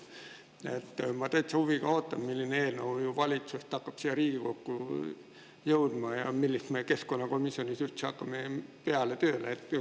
Ma täitsa huviga ootan, milline eelnõu valitsuselt siia Riigikokku jõuab ja millega me keskkonnakomisjonis üldse tööle hakkame.